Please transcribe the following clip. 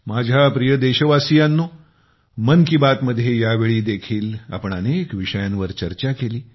माझ्या प्रिय देशवासियांनो मन की बात मध्ये यावेळी देखील आपण अनेक विषयांवर चर्चा केली